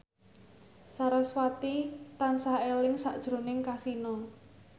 sarasvati tansah eling sakjroning Kasino